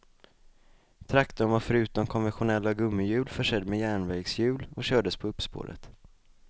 Traktorn var förutom konventionella gummihjul försedd med järnvägshjul och kördes på uppspåret.